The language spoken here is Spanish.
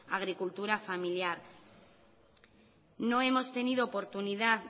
agricultura familiar no hemos tenido oportunidad